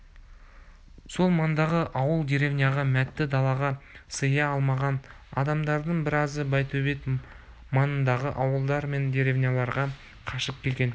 сол маңдағы ауыл деревняға мәтте далаға сыя алмаған адамдардың біразы байтөбет маңындағы ауылдар мен деревняларға қашып келген